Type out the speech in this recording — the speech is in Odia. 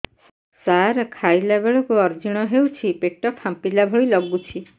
ସାର ଖାଇଲା ବେଳକୁ ଅଜିର୍ଣ ହେଉଛି ପେଟ ଫାମ୍ପିଲା ଭଳି ଲଗୁଛି